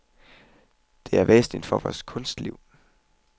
Det er væsentligt for vores kunstliv.